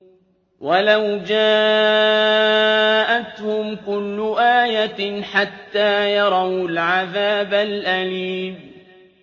وَلَوْ جَاءَتْهُمْ كُلُّ آيَةٍ حَتَّىٰ يَرَوُا الْعَذَابَ الْأَلِيمَ